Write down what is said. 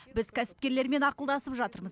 біз кәсіпкерлермен ақылдасып жатырмыз